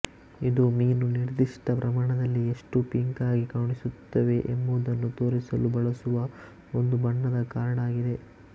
ಇದು ಮೀನು ನಿರ್ದಿಷ್ಟ ಪ್ರಮಾಣದಲ್ಲಿ ಎಷ್ಟು ಪಿಂಕ್ ಆಗಿ ಕಾಣಿಸುತ್ತವೆ ಎಂಬುದನ್ನು ತೋರಿಸಲು ಬಳಸುವ ಒಂದು ಬಣ್ಣದ ಕಾರ್ಡ್ ಆಗಿದೆ